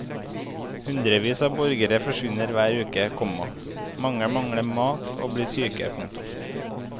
Hundrevis av borgere forsvinner hver uke, komma mange mangler mat og blir syke. punktum